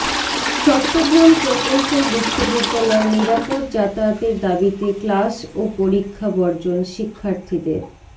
চট্টগ্রাম প্রকৌশল বিশ্ববিদ্যালয় নিরাপদ যাতায়াতের দাবিতে ক্লাস ও পরীক্ষা বর্জন শিক্ষার্থীদের